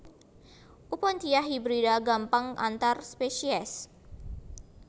Opuntia hibrida gampang antar spesies